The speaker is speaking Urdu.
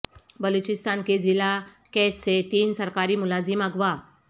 بلوچستان کے ضلع کیچ سے تین سرکاری ملازم اغوا